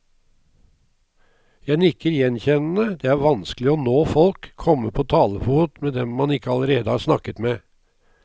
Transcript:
Jeg nikker gjenkjennende, det er vanskelig å nå folk, komme på talefot med de man ikke allerede har snakket med.